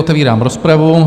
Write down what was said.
Otevírám rozpravu.